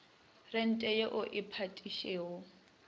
rente ye o e patetšego